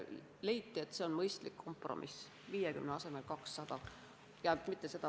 Leiti, et see on mõistlik kompromiss – 50 asemel 200 padrunit.